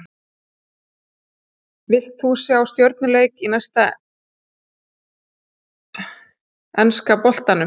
Vilt þú sjá stjörnuleik í enska boltanum?